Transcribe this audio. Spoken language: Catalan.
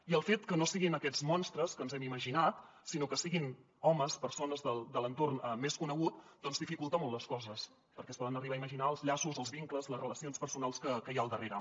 i el fet que no siguin aquests monstres que ens hem imaginat sinó que siguin homes persones de l’entorn més conegut doncs dificulta molt les coses perquè es poden arribar a imaginar els llaços els vincles les relacions personals que hi ha al darrere